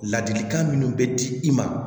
Ladilikan minnu bɛ di i ma